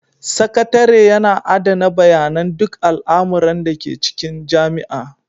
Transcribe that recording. Sakatare yana adana bayanan duk al'amuran da ke cikin jami'a.